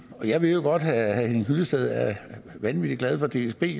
jeg ved jo godt at herre henning hyllested er vanvittig glad for dsb